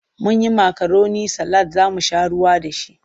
Mun yi makaroni salad za mu sha ruwa da shi.